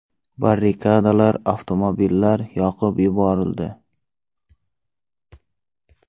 Barrikadalar, avtomobillar yoqib yuborildi.